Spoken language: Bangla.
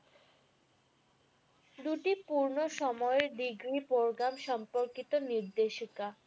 দুটি পূর্ণ সময়ের programme সম্পর্কিত নির্দেশিকা।